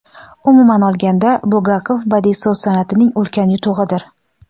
umuman olganda Bulgakov badiiy so‘z san’atining ulkan yutug‘idir.